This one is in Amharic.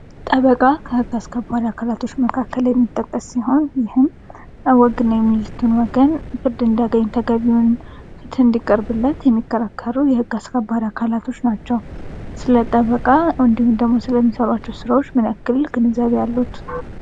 ጠበቃ ከህግ አስከባሪ አካላቶች መካከል የሚጠቀስ ሲሆን ይህም ተጎድተናል የሚሉትን ወገን ፍርድ እንዲያገኙ ተገቢውን ፍትህ እንዲቀርብለት የሚከራከሩ የህግ አካላቶች ናቸው። ስለ ጠበቃ ወይም ስለሚሰሯቸው ስራዎች ምን ያክል ግንዛቤ አለዎት?